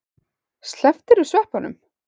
Slepptirðu sveppunum?